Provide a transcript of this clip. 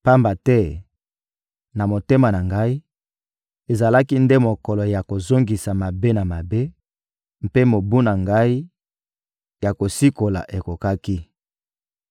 Pamba te, na motema na ngai, ezalaki nde mokolo ya kozongisa mabe na mabe, mpe mobu na ngai ya kosikola ekokaki.